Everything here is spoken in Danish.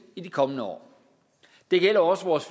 i de kommende år det gælder også vores